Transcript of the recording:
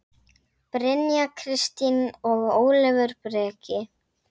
Brynja Kristín og Ólafur Breki.